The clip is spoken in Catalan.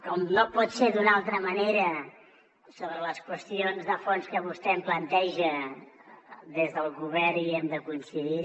com no pot ser d’una altra manera sobre les qüestions de fons que vostè em planteja des del govern hi hem de coincidir